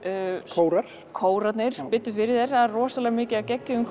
kórar kórarnir biddu fyrir þér það er rosalega mikið af geggjuðum